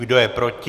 Kdo je proti.